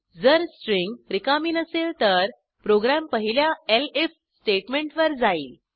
जर स्ट्रिंग रिकामी नसेल तर प्रोग्रॅम पहिल्या एलिफ स्टेटमेंटवर जाईल